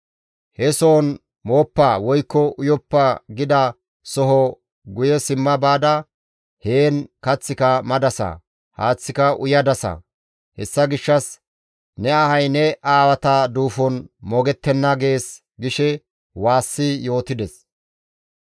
He sohon mooppa woykko uyoppo gida soho guye simma baada heen kaththika madasa; haaththika uyadasa. Hessa gishshas ne ahay ne aawata duufon moogettenna› gees» gishe waassi yootides.